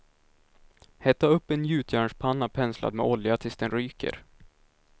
Hetta upp en gjutjärnspanna penslad med olja tills den ryker.